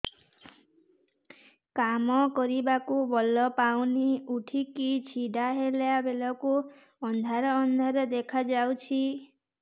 କାମ କରିବାକୁ ବଳ ପାଉନି ଉଠିକି ଛିଡା ହେଲା ବେଳକୁ ଅନ୍ଧାର ଅନ୍ଧାର ଦେଖା ଯାଉଛି